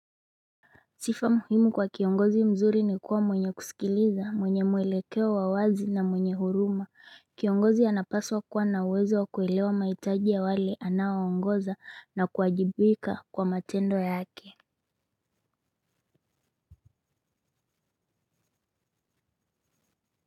Sifa muhimu kwa kiongozi mzuri ni kuwa mwenye kusikiliza, mwenye mwelekeo wa wazi na mwenye huruma. Kiongozi anapaswa kuwa na uwezo wa kuelewa maitaji ya wale anawangoza na kuwajibika kwa matendo yake.